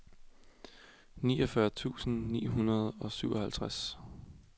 niogfyrre tusind ni hundrede og syvoghalvtreds